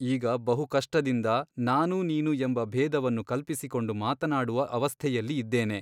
ಈಗ ಬಹುಕಷ್ಟದಿಂದ ನಾನು ನೀನು ಎಂಬ ಭೇದವನ್ನು ಕಲ್ಪಿಸಿಕೊಂಡು ಮಾತನಾಡುವ ಅವಸ್ಥೆಯಲ್ಲಿ ಇದ್ದೇನೆ.